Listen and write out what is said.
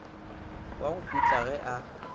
wa go putla ge a